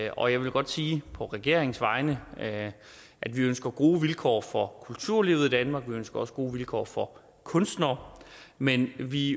og jeg vil godt sige på regeringens vegne at vi ønsker gode vilkår for kulturlivet i danmark vi ønsker gode vilkår for kunstnere men at vi